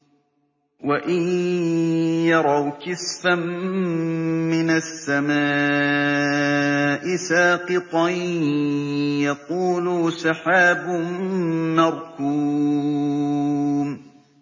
وَإِن يَرَوْا كِسْفًا مِّنَ السَّمَاءِ سَاقِطًا يَقُولُوا سَحَابٌ مَّرْكُومٌ